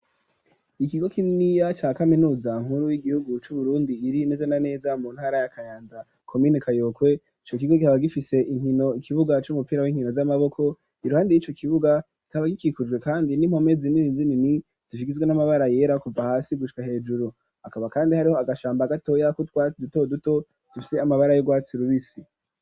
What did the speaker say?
Ikigo kininiya ca kaminuza nkuru y'igihugu c'Uburundi, iri neze na neza mu ntara ya Kayanza komine Kayokwe; ico kigo kikaba gifise inkino, ikibuga c'umupira w'inkino z'amaboko, iruhande y'ico kibuga kikaba gikikujwe kandi n'impome zinini zinini, zigizwe n'amabara yera kuva hasi gushika hejuru, hakaba kandi hariho agashamba gatoya k'utwatsi duto duto, dufise amabara y'urwatsi rubisi.